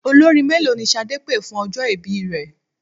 Olórin mélòó ni Ṣadé pé fún ọjọ́ ìbí rẹ?